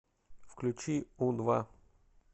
включи у два